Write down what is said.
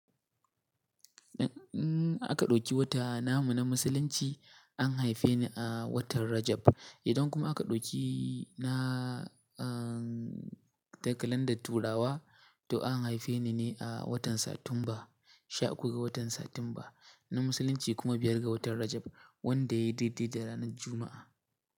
Aka ɗauki wata namu na Musulunci an haife ni a watan Rajab. Idan kuma aka ɗauki na, ahhh takalandar Turawa to an haife ni ne a watan Satumba, sha uku ga watan Satumba na Musulunci kuma biyar ga watan Rajab wanda ya yi daidai da ranar Juma’a.